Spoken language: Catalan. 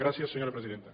gràcies senyora presidenta